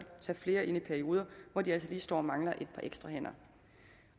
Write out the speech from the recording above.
tage flere ind i perioder hvor de altså lige står og mangler et par ekstra hænder